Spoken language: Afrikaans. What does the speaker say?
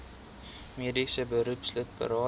mediese beroepslid berading